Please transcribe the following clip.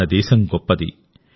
మన దేశం గొప్పది